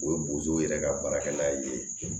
O ye bozow yɛrɛ ka baarakɛla ye